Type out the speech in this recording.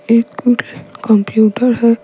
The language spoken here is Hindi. एक कंप्यूटर है।